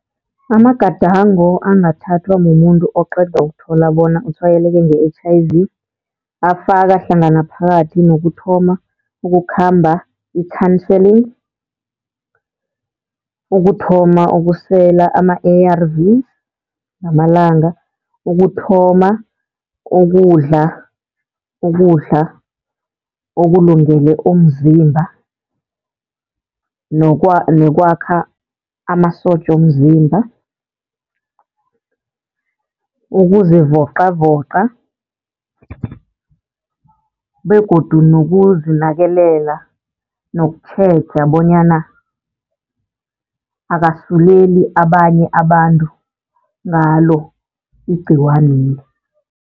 Amagadango angathathwa mumuntu oqeda ukuthola bona utshwayeleke nge-H_I_V afaka hlangana phakathi nokuthoma ukukhamba i-counselling. Ukuthoma ukusela ama-ARVS ngamalanga, ukuthoma ukudla, ukudla okulungele umzimba nekwakha amasotja womzimba, ukuzivoqavoqa begodu nokuzinakelela nokutjheja bonyana akasuleli abanye abantu ngalo igciwaneli.